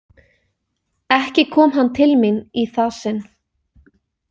Ekki kom hann til mín í það sinn.